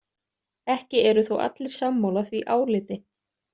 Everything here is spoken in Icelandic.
Ekki eru þó allir sammála því áliti.